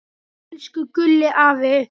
Elsku Gúlli afi.